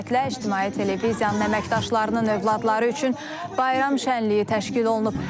Bu münasibətlə İctimai Televiziyanın əməkdaşlarının övladları üçün bayram şənliyi təşkil olunub.